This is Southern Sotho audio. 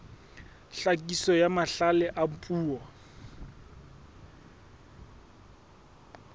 tlhakiso ya mahlale a puo